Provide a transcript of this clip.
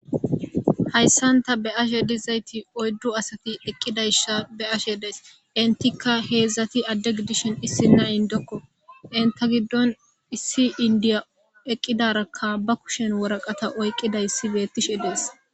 Haysan ta be'ashe de'izati oyddu asati eqidaysa be'ashe daysi , entka hezdzdati adde gidishn issina innoko , ista giddon issi indiya eqidaraka ba kushen warata oykidara beetise deezi.